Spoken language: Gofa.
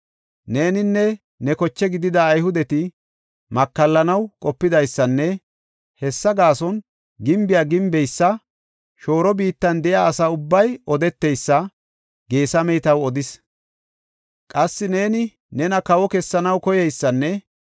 “Neeninne ne koche gidida Ayhudeti makallanaw qopidaysanne hessa gaason gimbiya gimbeysa shooro biittan de7iya asa ubbay odeteysa Geesamey taw odis. Qassi neeni nena kawo kessanaw koyeysanne